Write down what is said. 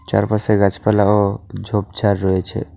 চারপাশে গাছপালা ও ঝোপঝাড় রয়েছে।